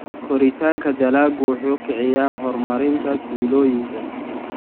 Koritaanka dalaggu wuxuu kiciyaa horumarinta tuulooyinka.